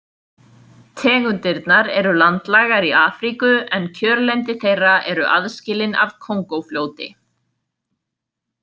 Tegundirnar eru landlægar í Afríku en kjörlendi þeirra eru aðskilin af Kongófljóti.